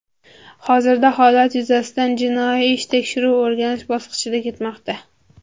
Hozirda holat yuzasidan jinoiy ish tekshiruv-o‘rganish bosqichida ketmoqda.